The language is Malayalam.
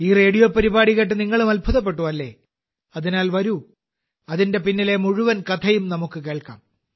ഈ റേഡിയോ പരിപാടി കേട്ട് നിങ്ങളും അത്ഭുതപ്പെട്ടു അല്ലേ അതിനാൽ വരൂ അതിന്റെ പിന്നിലെ മുഴുവൻ കഥയും നമുക്ക് കേൾക്കാം